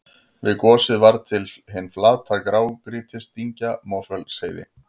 Við gosið varð til hin flata grágrýtisdyngja Mosfellsheiði.